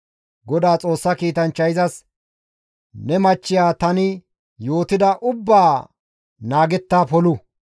Godaa Xoossa kiitanchchay izas, «Ne machchiya tani yootida ubbaa naagetta polu.